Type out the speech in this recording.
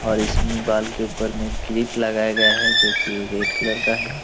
और इसमें बाल के ऊपर में क्लिप लगाया गया है जो की रेड कलर का है।